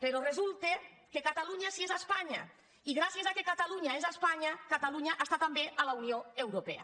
però resulta que catalunya sí que és espa·nya i gràcies al fet que catalunya és espanya cata·lunya està també a la unió europea